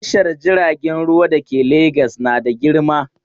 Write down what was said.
Tashar jiragen ruwa da ke Legas na da girma.